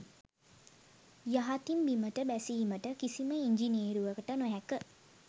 යහතින් බිමට බැසීමට කිසිම ඉන්ජිනේරුවකට නොහැක